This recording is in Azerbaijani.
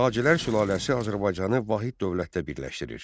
Sacilər sülaləsi Azərbaycanı vahid dövlətdə birləşdirir.